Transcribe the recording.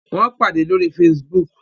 Wón pàdé lórí facebook